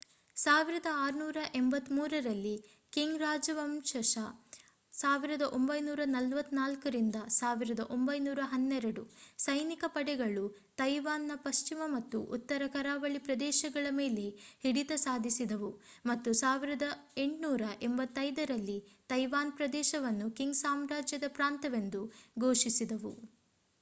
1683 ರಲ್ಲಿ ಕಿಂಗ್ ರಾಜವಂಶಜ 1644-1912 ಸೈನಿಕ ಪಡೆಗಳು ತೈವಾನ್‌ನ ಪಶ್ಚಿಮ ಮತ್ತು ಉತ್ತರ ಕರಾವಳಿ ಪ್ರದೇಶಗಳ ಮೇಲೆ ಹಿಡಿತ ಸಾಧಿಸಿದವು ಮತ್ತು 1885 ರಲ್ಲಿ ತೈವಾನ್ ಪ್ರದೇಶವನ್ನು ಕಿಂಗ್ ಸಾಮ್ರಾಜ್ಯದ ಪ್ರಾಂತ್ಯವೆಂದು ಘೋಷಿಸಿದವು